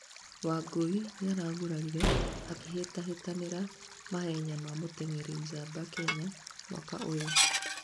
Wangui nĩaragũrarire akĩhĩtahĩtanira mahenya ma mũteng'eri njamba, Kenya, mwaka ũyũ